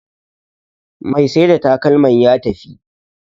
Mai Saida takalman ya tafi